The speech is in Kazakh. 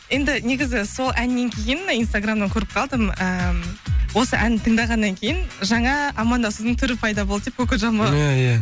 енді негізі сол әннен кейін инстаграмнан көріп қалдым ыыы осы ән тыңдағаннан кейін жаңа амандасудың түрі пайда болды деп коко джамбо иә иә